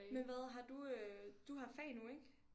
Men hvad har du øh du har fag nu ik